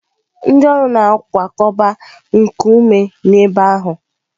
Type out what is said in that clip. Ndị ọrụ na-akwakọba nkume n'ebe ahụ.